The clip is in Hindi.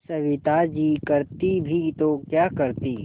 सविता जी करती भी तो क्या करती